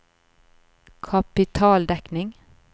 kapitaldekning